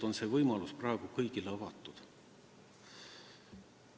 See võimalus on praegu praktiliselt kõigil.